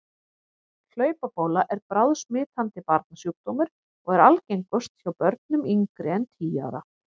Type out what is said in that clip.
Hlaupabóla er bráðsmitandi barnasjúkdómur og er algengust hjá börnum yngri en tíu ára.